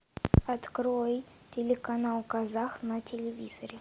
открой телеканал казах на телевизоре